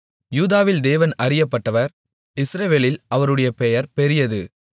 யூதாவில் தேவன் அறியப்பட்டவர் இஸ்ரவேலில் அவருடைய பெயர் பெரியது